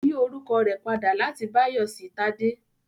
Ó yí orúkọ rẹ̀ padà láti Báyọ̀ sí Tádé